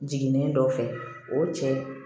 Jiginnen dɔ fɛ o cɛ